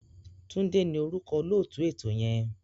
Túndé ni orúkọ olóòtú ètò yẹn.